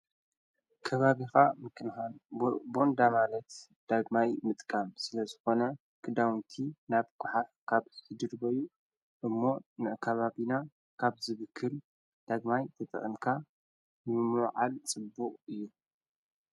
ከባብኻ ምክንሃን ቦንዳማለት ዳግማይ ምጥቃም ስለ ዝኾነ ክዳውንቲ ናብ ጐሓዕ ካብ ትድድበዩ እሞ ንካባቢና ካብ ዝብክል ዳግማይ ተጥቕንካ ምሞዓል ጽቡቕ እዩ።